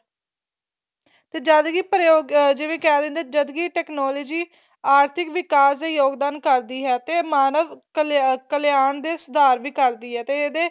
ਤੇ ਜਦ ਕੀ ਜਿਵੇਂ ਕਹਿ ਦਿੰਦੇ ਆ ਜਦ ਕੀ technology ਆਰਥਿਕ ਵਿਕਾਸ ਦਾ ਯੋਗਦਾਨ ਕਰਦੀ ਏ ਤੇ ਮਾਨਵ ਕਲਿਆਣ ਦੇ ਸੁਧਾਰ ਵੀ ਕਰਦੀ ਏ ਤੇ ਇਹਦੇ